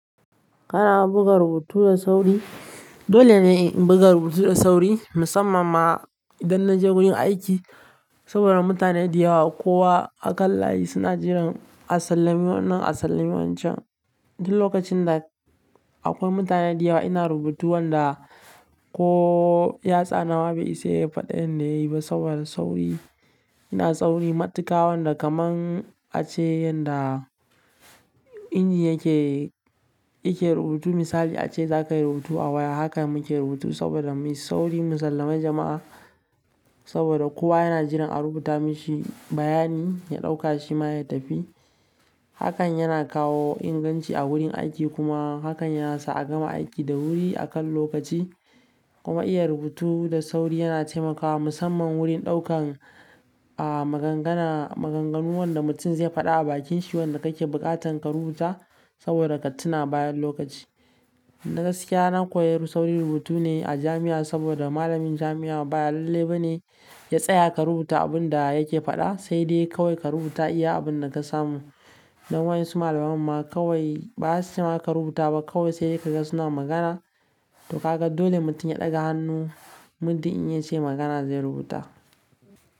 Kana buga rubutu da sauri? Dole ne in in buga rubutu da sauri musamman ma idan naje wurin aiki saboda mutane da yawa. Kowa a kan layi suna jiran a sallami wannan, a sallami wancan. Duk lokacin da akwai mutane da yawa ina rubutu wanda ko yatsa na ma bai isa yayi faɗin da yayi ba saboda sauri. Ina sauri matuƙa wanda kaman ace yanda inji yake, yake rubutu. Misali ace zakayi rubutu a waya, hakan muke rubutu saboda muyi sauri, mu sallami jama'a saboda kowa yana jiran a rubuta mishi bayani ya ɗauka shi ma ya tafi. Hakan yana kawo inganci a wurin aiki kuma hakan ya sa a gama aiki da wuri akan lokaci. Kuma iya rubutu da sauri yana taimakawa musamman wurin ɗaukan, ah, magangana maganganu wanda mutum zai faɗa a bakin shi wanda kake buƙatan ka rubuta saboda ka tuna bayan lokaci. Na gaskiya, na kori sauri rubutu ne a jami'a saboda malamin jami'a ba lalle bane ya tsaya ka rubuta abun da yake faɗa, sai dai kawai ka rubuta iya abin da ka samu. Nan wayan su malaman ma kawai ba su cema ka rubuta ba, kawai sai ka ga suna magana to ka ga dole mutum ya ɗaga hannu, muddin in yace magana zai rubuta.